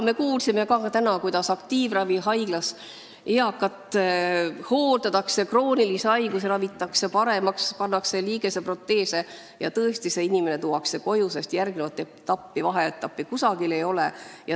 Me kuulsime täna, kuidas aktiivravihaiglas eakat hooldatakse, kroonilisi haigusi ravitakse, pannakse liigeseproteese ja siis tuuakse see inimene koju, sest järgmist etappi, vaheetappi ei ole.